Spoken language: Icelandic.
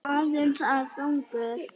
Eða aðeins of þungur?